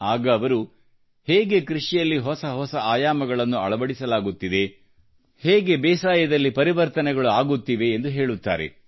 ಆಗ ಅವರು ಹೇಗೆ ಕೃಷಿಯಲ್ಲಿ ಹೊಸ ಹೊಸ ಆಯಾಮಗಳನ್ನು ಅಳವಡಿಸಲಾಗುತ್ತಿದೆ ಹೇಗೆ ಬೇಸಾಯದಲ್ಲಿ ಪರಿವರ್ತನೆಗಳು ಆಗುತ್ತಿವೆ ಎಂದು ಹೇಳುತ್ತಾರೆ